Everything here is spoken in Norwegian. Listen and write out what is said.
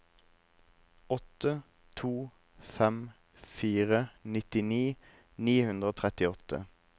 åtte to fem fire nitti ni hundre og trettiåtte